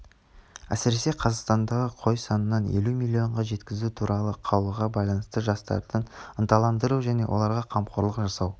әсіресе қазақстандағы қой санын елу миллионға жеткізу туралы қаулыға байланысты жастарды ынталандыру және оларға қамқорлық жасау